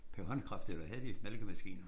Per håndkraft eller havde de malkemaskiner?